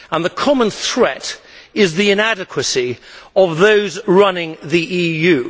The common threat is the inadequacy of those running the EU.